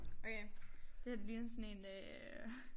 Okay det her det ligner sådan en øh